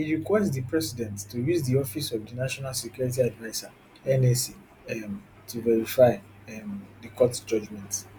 e request di president to use di office of di national security adviser nsa um to verify um di court judgement